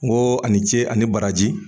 N koo ani ce ani baraji